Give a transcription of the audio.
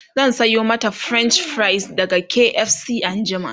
zan Sayo mata french fries daga KFC anjima